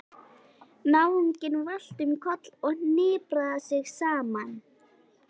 Náunginn valt um koll og hnipraði sig saman.